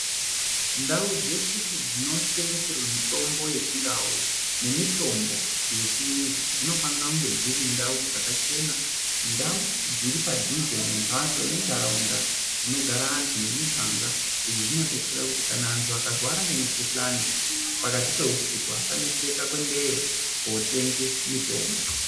Ndau dzeshe dzinotengeserwa mitombo yechiNdau nemitombo yechiyungu dzinofanira kunge dziri ndau dzakachena. Ndau dziri padhuze ndembatso ndendaraunda dzinogara anthu nemiganga izvi zvinodetsera kuti kana anthu akarwara nemikuhlani pakati peusiku asa neseka kuendayo kotenga mitombo.